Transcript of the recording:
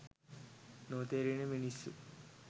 නොතේරෙන මිනිස්සු.